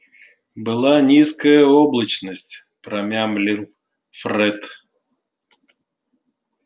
была низкая облачность промямлил фред